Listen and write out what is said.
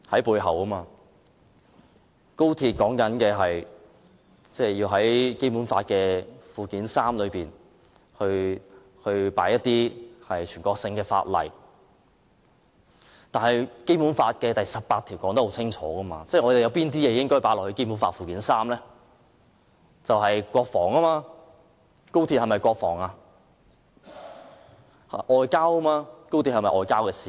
為了高鐵，要在《基本法》附件三加入一些全國性法例，但《基本法》第十八條清楚註明加入附件三的法例，是有關國防及外交事務的法例，那麼高鐵關乎國防及外交事務嗎？